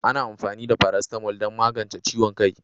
Ana amfani da paracetamol don magance ciwon kai.